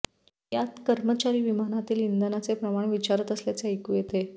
यात कर्मचारी विमानातील इंधनाचे प्रमाण विचारत असल्याचे ऐकू येते